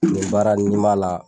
Nin baara in, n'i b'a la.